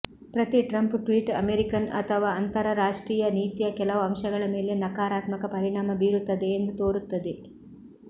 ಪ್ರತಿ Trump tweet American ಅಥವಾ ಅಂತರರಾಷ್ಟ್ರೀಯ ನೀತಿಯ ಕೆಲವು ಅಂಶಗಳ ಮೇಲೆ ನಕಾರಾತ್ಮಕ ಪರಿಣಾಮ ಬೀರುತ್ತದೆ ಎಂದು ತೋರುತ್ತದೆ